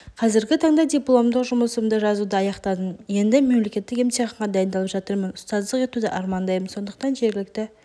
қазіргі таңда дипломдық жұмысымды жазуды аяқтадым енді мемлкеттік емтиханға дайындалып жатырмын ұстаздық етуді армандаймын сондықтан жергілікті